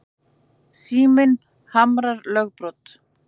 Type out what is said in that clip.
Síminn harmar lögbrot